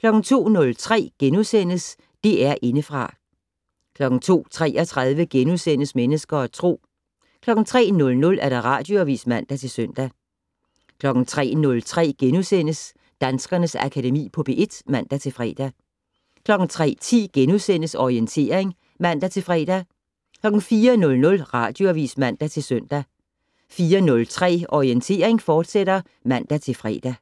02:03: DR Indefra * 02:33: Mennesker og Tro * 03:00: Radioavis (man-søn) 03:03: Danskernes Akademi på P1 *(man-fre) 03:10: Orientering *(man-fre) 04:00: Radioavis (man-søn) 04:03: Orientering, fortsat (man-fre)